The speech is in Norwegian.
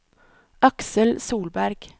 Aksel Solberg